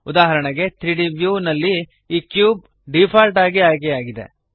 ಉದಾಹರಣೆಗೆ 3ದ್ ವ್ಯೂ ನಲ್ಲಿ ಈ ಕ್ಯೂಬ್ ಡಿಫಾಲ್ಟ್ ಆಗಿ ಆಯ್ಕೆಯಾಗಿದೆ